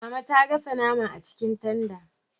Mama ta gasa nama a cikin tanda